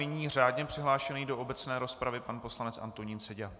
Nyní žádně přihlášený do obecné rozpravy pan poslanec Antonín Seďa.